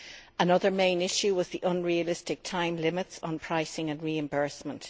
Another main issue was the unrealistic time limits on pricing and reimbursement.